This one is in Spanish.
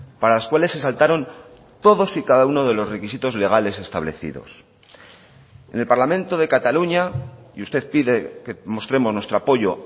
para las cuales se saltaron todos y cada uno de los requisitos legales establecidos en el parlamento de cataluña y usted pide que mostremos nuestro apoyo